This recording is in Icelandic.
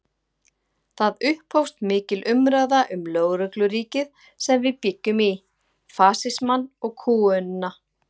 Það upphófst mikil umræða um lögregluríkið sem við byggjum í, fasismann og kúgunina.